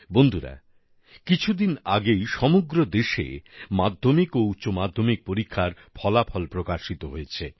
বন্ধুরা কিছুদিন আগেই সমগ্র দেশে মাধ্যমিক ও উচ্চমাধ্যমিক পরীক্ষার ফলাফল প্রকাশিত হয়েছে